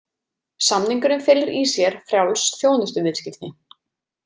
Samningurinn felur í sér frjáls þjónustuviðskipti.